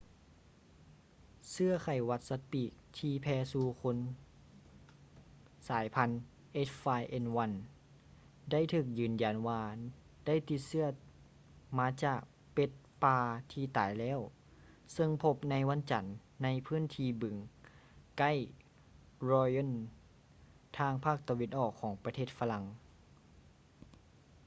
ເຊື້ອໄຂ້ຫວັດສັດປີກທີ່ແຜ່ສູ່ຄົນສາຍພັນ h5n1 ໄດ້ຖືກຢືນຢັນວ່າໄດ້ຕິດເຊື້ອມາຈາກເປັດປ່າທີ່ຕາຍແລ້ວ ເຊິ່ງພົບໃນວັນຈັນໃນພື້ນທີ່ບຶງ ໃກ້ lyon ທາງພາກຕາເວັນອອກຂອງປະເທດຝຣັ່ງ